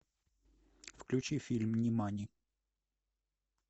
включи фильм нимани